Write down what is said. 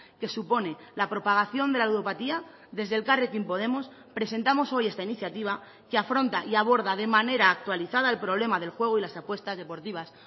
que supone la propagación de la ludopatía desde elkarrekin podemos presentamos hoy esta iniciativa que afronta y aborda de manera actualizada el problema del juego y las apuestas deportivas